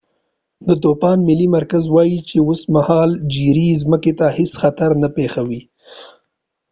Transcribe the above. د طوفان ملي مرکز وایی چې اوسمهال جیري ځمکې ته هیڅ خطر نه پیښوي